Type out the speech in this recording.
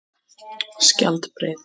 Skjaldbreið